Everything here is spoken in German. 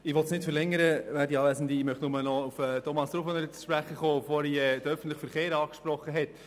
Ich möchte nicht verlängern, sondern nur noch etwas zu Grossrat Rufener sagen, der vorhin den öffentlichen Verkehr angesprochen hat.